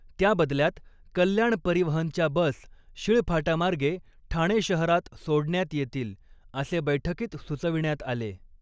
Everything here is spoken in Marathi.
त्याबदल्यात कल्याण परिवहनच्या बस शिळफाटामार्गे ठाणे शहरात सोडण्यात येतील, असे बैठकीत सुचविण्यात आले.